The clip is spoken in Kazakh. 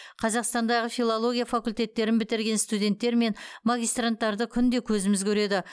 қазақстандағы филология факультеттерін бітірген студенттер мен магистранттарды күнде көзіміз көреді